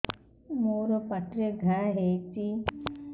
ମୋର ପାଟିରେ ଘା ହେଇଚି